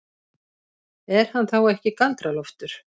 Er hann þá ekki Galdra-Loftur?